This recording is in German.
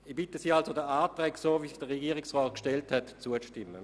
Ich bitte Sie, den Anträgen der Regierung zuzustimmen.